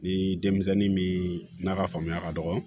Ni denmisɛnnin min n'a ka faamuya ka dɔgɔ